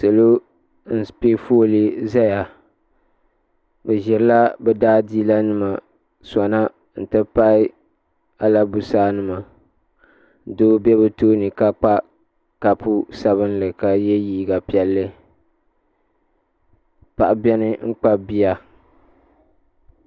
Salo n pɛ folee zaya bi zirila bi da a diila nima sona n ti pahi albusaa nima doo bɛ bi tooni ka kpa kapu sabili ka yiɛ liiga piɛlli paɣa bɛni n.kpabi bia.